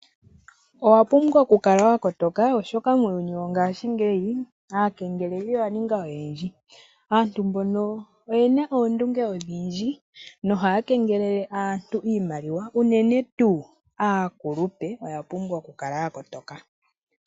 Owa pumbwa oku kala wa kotoka oshoka muuyuni wongashingeyi aakengeleli oya ninga oyendji. Aantu mbono oyena oondunge odhindji nohaya kengelelle aantu iimaliwa, unene tuu aakulupe oya pumbwa oku kala ya kotoka.